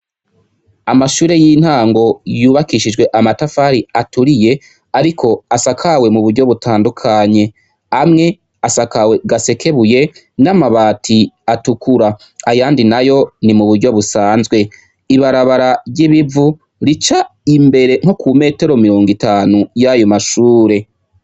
Amashure y intango yubakishij' amatafar'aturiye, arik' asakawe muburyo butandukanye, amw' asakawe gasekebuye n' amabat' atukura, ayandi nayo nimuburyo busanzwe, ibarabara ryibivu ric' imbere nko ku metero mirongitanu yayo mashure.